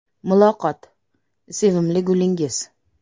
Muloqot: Sevimli gulingiz?